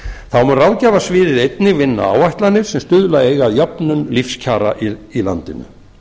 þá mun ráðgjafarsviðið einnig vinna áætlanir sem stuðla eiga að jöfnun lífskjara í landinu